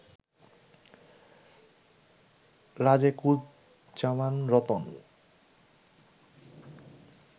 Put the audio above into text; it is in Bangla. রাজেকুজ্জামান রতন